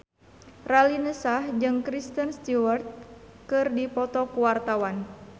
Raline Shah jeung Kristen Stewart keur dipoto ku wartawan